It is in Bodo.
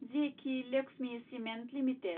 जेखि लक्ष्मी सिमेन्ट लिमिटेड